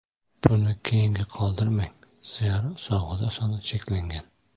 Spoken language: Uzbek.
Buni keyinga qoldirmang, zero sovg‘alar soni cheklangan.